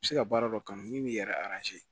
Bɛ se ka baara dɔ kanu min yɛrɛ